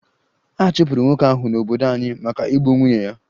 A chụpụrụ nwoke ahụ n'obodo anyị maka igbu nwunye ya